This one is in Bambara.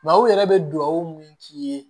u yɛrɛ bɛ duwawu min k'i ye